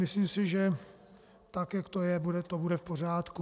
Myslím si, že tak, jak to je, to bude v pořádku.